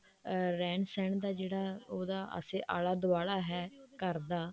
ਅਮ ਰਹਿਣ ਸਹਿਣ ਦਾ ਜਿਹੜਾ ਉਹਦਾ ਪਾਸੇ ਆਲਾ ਦੁਆਲਾ ਹੈ ਘਰ ਦਾ